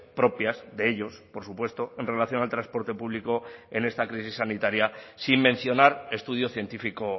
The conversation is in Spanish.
propias de ellos por supuesto en relación al transporte público en esta crisis sanitaria sin mencionar estudio científico